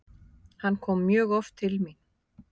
Hann kom mjög oft til mín.